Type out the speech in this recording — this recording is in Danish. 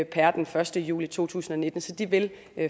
per den første juli to tusind og nitten så de vil